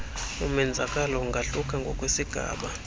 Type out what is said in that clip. umenzakalo ungahluka ngokwesigaba